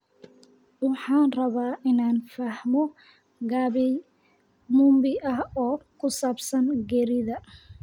Waxaan rabaa inaan fahmo gabay mumbi ah oo ku saabsan geerida